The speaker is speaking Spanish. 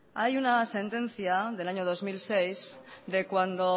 hay una sentencia del año dos mil seis de cuando